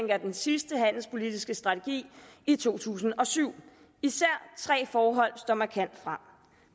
af den sidste handelspolitiske strategi i to tusind og syv især tre forhold står markant frem